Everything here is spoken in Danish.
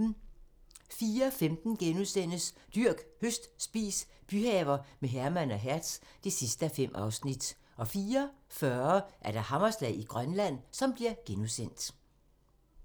04:15: Dyrk, høst, spis - byhaver med Herman og Hertz (5:5)* 04:40: Hammerslag i Grønland *